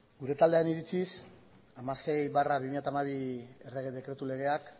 gure taldearen iritziz hamasei barra bi mila hamabi errege dekretu legeak